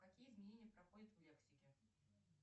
какие изменения проходят в лексике